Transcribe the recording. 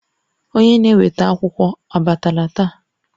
Onye na-eweta akwụkwọ abatala taa?